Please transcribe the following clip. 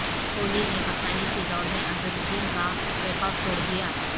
کوہلی نے کپتانی کی دوڑ میں اظہر الدین کا ریکارڈ توڑدیا